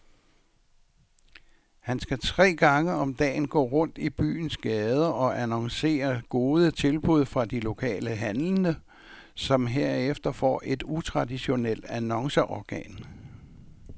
Han skal tre gange om dagen gå rundt i byens gader og annoncere gode tilbud fra de lokale handlende, som hermed får et utraditionelt annonceorgan.